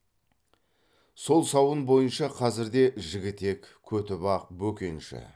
сол сауын бойынша қазірде жігітек көтібақ бөкенші